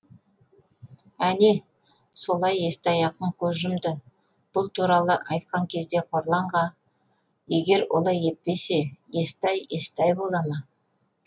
әне солай естай ақын көз жұмды бұл туралы атйқан кезде қорланға егер олай етпесе естай естай бола ма